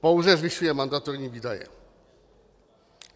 Pouze zvyšuje mandatorní výdaje.